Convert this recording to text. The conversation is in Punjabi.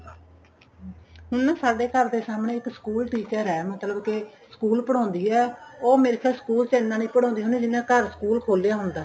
ਹਮ ਹੁਣ ਨਾ ਸਾਡੇ ਘਰ ਦੇ ਸਾਹਮਣੇ ਇੱਕ school teacher ਏ ਮਤਲਬ ਕਿ ਸਕੂਲ ਪੜ੍ਹਾਉਂਦੀ ਏ ਉਹ ਮੇਰੇ ਖਿਆਲ ਨਾਲ school ਚ ਇੰਨਾ ਨੀਂ ਪੜ੍ਹਾਉਂਦੀ ਜਿੰਨਾ ਘਰ school ਖੋਲਿਆ ਹੁੰਦਾ